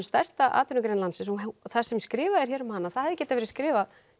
stærsta atvinnugrein landsins og það sem skrifað er hér um hana tja það hefði getað verið skrifað